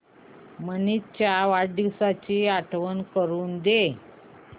मनीष च्या वाढदिवसाची आठवण करून दे